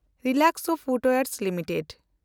Relaxo footwears limited